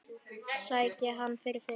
Sæki hann fyrir þig.